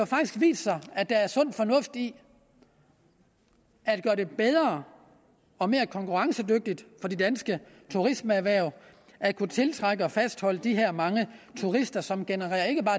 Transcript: faktisk vist sig at der er sund fornuft i at gøre det bedre og mere konkurrencedygtigt for de danske turismeerhverv at kunne tiltrække og fastholde de her mange turister som genererer ikke bare